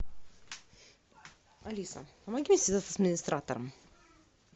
алиса помоги связаться с администратором